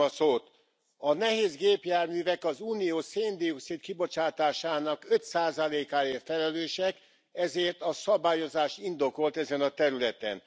A nehézgépjárművek az Unió széndioxid kibocsátásának 5 százalékáért felelősek, ezért a szabályozás indokolt ezen a területen.